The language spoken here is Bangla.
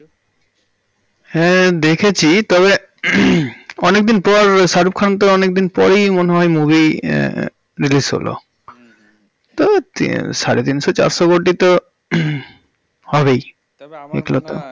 হ্যাঁ দেখেছি তবে অনেকদিন পর শাহরুখ খান তো অনেকদিন পরে মনে হয় movie আহ release হলো তো সাড়ে তিনশো চারশো কোটি তো হবেই এক লতা তবে আমার মনে হয়